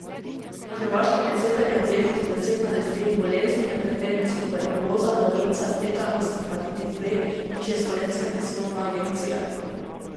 Na Hrvaškem je cepljenje obvezno za deset nalezljivih bolezni, med katerimi so tuberkuloza, davica, tetanus in hepatitis B, piše Slovenska tiskovna agencija.